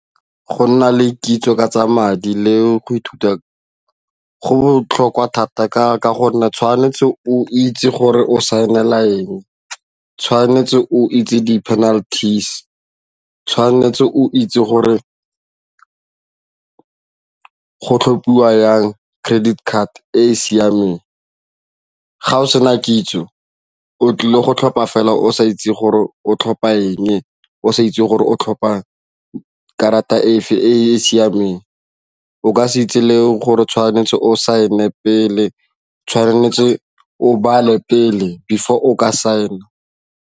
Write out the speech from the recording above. Go nna le kitso ka tsa madi le go ithuta go botlhokwa thata ka gonne tshwanetse o itse gore o saenila eng, o tshwanetse o itse di-penalties, tshwanetse o itse gore go tlhophiwa jang credit card e e siameng ga o sena kitso o tlile go tlhopha fela o sa itse gore o tlhopha eng, o sa itse gore o tlhopha karata e e siameng, o ka se itse le gore tshwanetse o saene pele, tshwanetse o bale pele before o ka saena.